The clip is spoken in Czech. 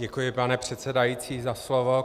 Děkuji, pane předsedající, za slovo.